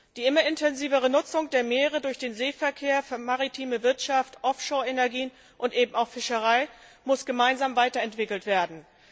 Die immer intensivere Nutzung der Meere durch den Seeverkehr, für maritime Wirtschaft, Offshore Energien und auch die Fischerei muss gemeinsam weiterentwickelt werden.